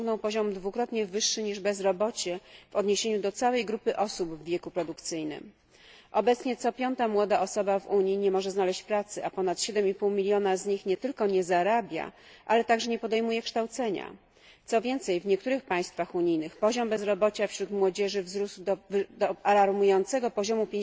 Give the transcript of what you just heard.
osiągnął poziom dwukrotnie wyższy niż bezrobocie w odniesieniu do całej grupy osób w wieku produkcyjnym. Obecnie co piąta młoda osoba w Unii nie może znaleźć pracy, a ponad 7,5 mln z nich nie tylko nie zarabia, ale także nie podejmuje kształcenia, co więcej, w niektórych państwach unijnych poziom bezrobocia wśród młodzieży wzrósł do alarmującego poziomu